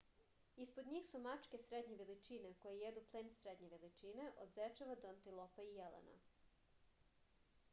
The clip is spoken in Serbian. ispod njih su mačke srednje veličine koje jedu plen srednje veličine od zečeva do antilopa i jelena